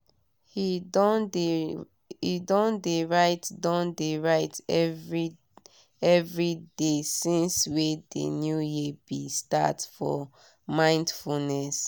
he don de write don de write every de since wey de new year be start for mindfulness.